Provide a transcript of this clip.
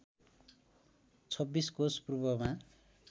२६ कोष पूर्वमा